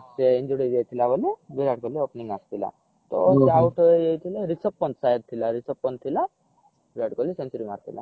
ହଁ ସିଏ injured ହେଇଯାଇଥିଲା ବୋଲି ବିରାଟ କୋହଲୀ opening ଆସିଥିଲା ତ out ହେଇଯାଇଥିଲେ ରିଷଭ ପନ୍ତ ଶାୟଦ ଥିଲା ରିଷଭ ପନ୍ତ ଥିଲା ବିରାଟ କୋହଲୀ century ମାରିଥିଲା